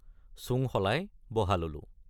চোং সলাই বহা ললোঁ।